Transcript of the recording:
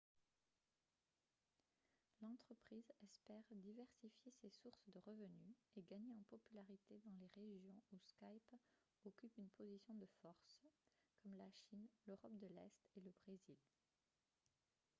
l'entreprise espère diversifier ses sources de revenus et gagner en popularité dans les régions où skype occupe une position de force comme la chine l'europe de l'est et le brésil